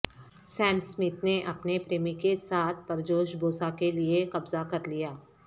سام سمتھ نے اپنے پریمی کے ساتھ پرجوش بوسہ کے لئے قبضہ کر لیا